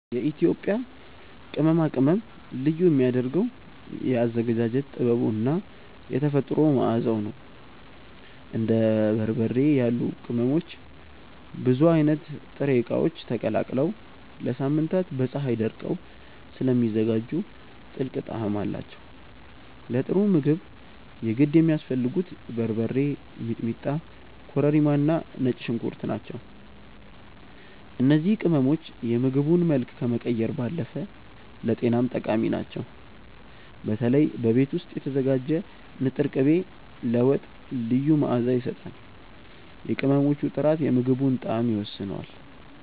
የኢትዮጵያ ቅመማ ቅመም ልዩ የሚያደርገው የአዘገጃጀት ጥበቡ እና የተፈጥሮ መዓዛው ነው። እንደ በርበሬ ያሉ ቅመሞች ብዙ አይነት ጥሬ እቃዎች ተቀላቅለው ለሳምንታት በፀሀይ ደርቀው ስለሚዘጋጁ ጥልቅ ጣዕም አላቸው። ለጥሩ ምግብ የግድ የሚያስፈልጉት በርበሬ፣ ሚጥሚጣ፣ ኮረሪማ እና ነጭ ሽንኩርት ናቸው። እነዚህ ቅመሞች የምግቡን መልክ ከመቀየር ባለፈ ለጤናም ጠቃሚ ናቸው። በተለይ በቤት ውስጥ የተዘጋጀ ንጥር ቅቤ ለወጥ ልዩ መዓዛ ይሰጣል። የቅመሞቹ ጥራት የምግቡን ጣዕም ይወስነዋል።